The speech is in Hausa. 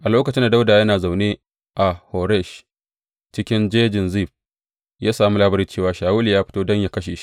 A lokacin da Dawuda yana zaune a Horesh cikin jejin Zif, ya sami labari cewa Shawulu ya fito don yă kashe shi.